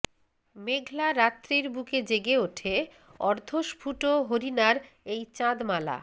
মেঘলা রাত্রির বুকে জেগে ওঠে অর্ধস্ফুট হরিণার এই চাঁদমালা